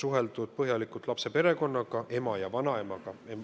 Põhjalikult on suheldud lapse perekonnaga, ema ja vanaemaga.